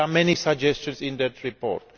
There are many suggestions in the report.